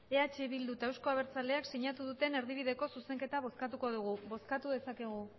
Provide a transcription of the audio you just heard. eh bildu eta euzko abertzaleak sinatu duten erdibideko zuzenketa bozkatuko dugu bozkatu dezakegu